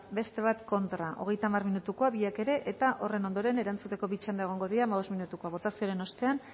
beste bat kontra hogeita hamar minutukoa biak ere eta horren ondoren erantzuteko bi txanda egongo dira hamabost minutukoak botazioaren ostean